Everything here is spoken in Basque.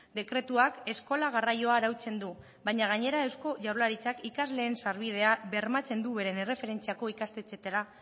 dekretuak eskola garraioa arautzen du baina gainera eusko jaurlaritzak ikasleen sarbidea bermatzen du beren erreferentziako ikastetxeetara